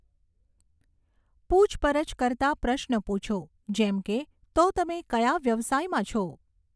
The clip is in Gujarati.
પૂછપરછ કરતા પ્રશ્નો પૂછો, જેમ કે, તો તમે કયા વ્યવસાયમાં છો?